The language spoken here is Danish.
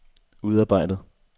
udarbejdet